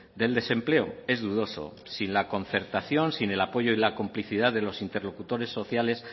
del desempleo es dudoso sin la concertación sin el apoyo y la complicidad de los interlocutores sociales